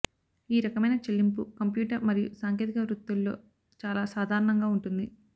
ఈ రకమైన చెల్లింపు కంప్యూటర్ మరియు సాంకేతిక వృత్తుల్లో చాలా సాధారణంగా ఉంటుంది